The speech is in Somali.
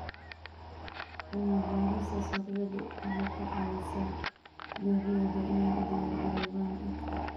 Cilmi-baarista suuqyadu waxay ka caawisaa beeralayda inay u diyaargaroobaan iibka.